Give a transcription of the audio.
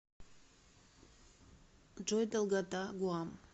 джой долгота гуам